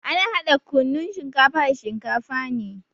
Ana hada kunnun shinkafa da shinkafa ne.